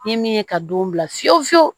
Ni min ye ka don bila fiyewu fiyewu